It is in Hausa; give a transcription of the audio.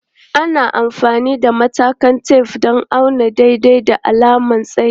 Ana amfani da matakan tef don auna daidai da alamar tsayi.